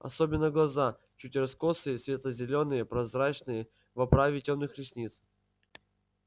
особенно глаза чуть раскосые светло-зелёные прозрачные в оправе тёмных ресниц